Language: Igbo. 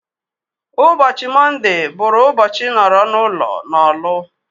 Ụbọchị mondee bụrụ ụbọchị nọrọ n'ụlo n'Orlu